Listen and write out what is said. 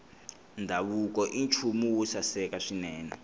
ndhavuko i nchumu wo saseka swinene